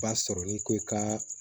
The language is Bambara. Ba sɔrɔ n'i ko i ka